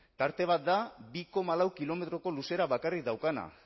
tarte bat da bi koma lau kilometroko luzera bakarrik daukana